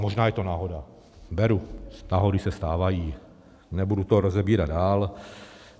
Možná je to náhoda, beru, náhody se stávají, nebudu to rozebírat dál.